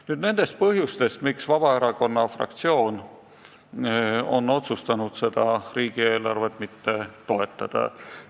Nüüd nendest põhjustest, miks Vabaerakonna fraktsioon on otsustanud seda riigieelarvet mitte toetada.